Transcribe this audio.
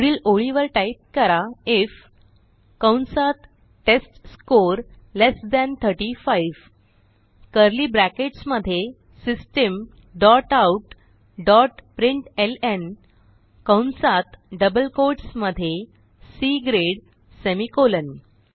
पुढील ओळीवर टाईप करा आयएफ कंसात test score less than 35 curly brackets मध्ये system dot out dot println कंसात डबल कोट्स मध्ये सी ग्रेड सेमिकोलॉन